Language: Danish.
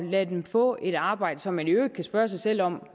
lade dem få et arbejde som man i øvrigt kan spørge sig selv om